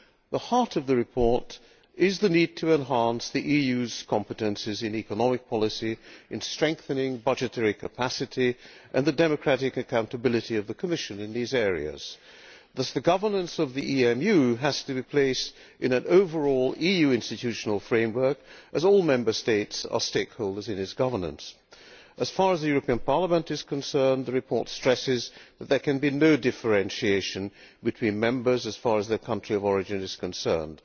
The heart of the report is the need to enhance the EU's competences in economic policy in strengthening budgetary capacity and the democratic accountability of the Commission in these areas. The governance of the EMU has to be placed in an overall EU institutional framework as all Member States are stakeholders in its governance. As far as the European Parliament is concerned, the report stresses that there can be no differentiation been Members as far as their country of origin is concerned.